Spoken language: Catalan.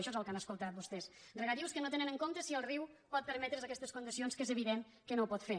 això és el que han escoltat vostès regadius que no tenen en compte si el riu pot permetre’s aquestes condicions que és evident que no ho pot fer